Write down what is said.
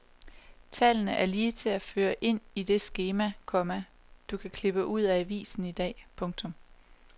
Tallene er lige til at føre ind i det skema, komma du kan klippe ud af avisen i dag. punktum